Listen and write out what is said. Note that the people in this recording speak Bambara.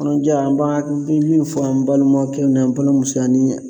Kɔnɔja, an ba min fɔ an balimakɛw ni an balimamuso ye ani.